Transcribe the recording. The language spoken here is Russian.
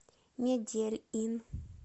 медельин